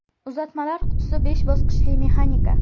Uzatmalar qutisi besh bosqichli mexanika.